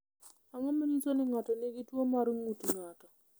Ang’o ma nyiso ni ng’ato nigi tuwo mar ng’ut ng’ato?